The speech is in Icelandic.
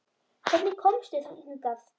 Hvernig komstu hingað?